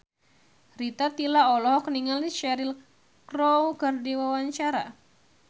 Rita Tila olohok ningali Cheryl Crow keur diwawancara